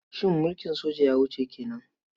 Shin mulkin soja ya wuce ke nan?